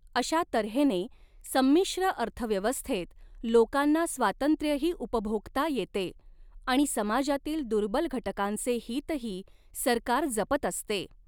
अश्या तऱ्हेने संमिश्र अर्थव्यवस्थेत लोकांना स्वातंत्र्यही उपभोगता येते आणि समाजातील दुर्बल घटकांचे हीतही सरकार जपत असते.